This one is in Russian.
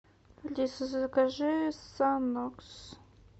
алиса закажи санокс